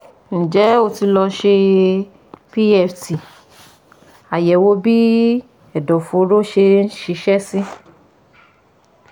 Ǹjẹ́ ó ti lọ ṣe PFT Àyẹ̀wò bí ẹ̀dọ̀fóró ṣe ń ṣiṣẹ́ sí